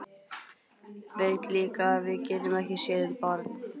Veit líka að við getum ekki séð um barn.